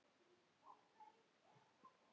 Þetta er allt að aukast.